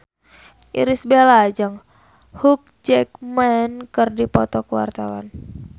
Irish Bella jeung Hugh Jackman keur dipoto ku wartawan